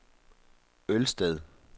Ølsted